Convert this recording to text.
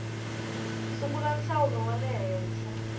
sungula nhlawulo wa le henhla